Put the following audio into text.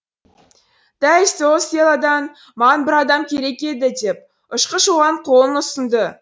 дәл сол селодан маған бір адам керек еді деп ұшқыш оған қолын ұсынды